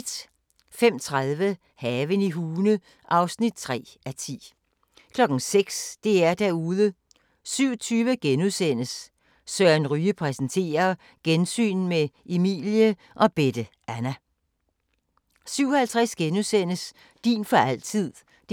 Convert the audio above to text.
05:30: Haven i Hune (3:10) 06:00: DR-Derude 07:20: Søren Ryge præsenterer: Gensyn med Emilie og Bette Anna * 07:50: Din for altid (3:3)*